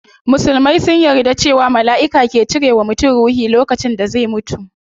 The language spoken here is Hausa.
Musulman sun yarda cewa malaiki ke cire wa mutum ruhi lokacin da zai mutu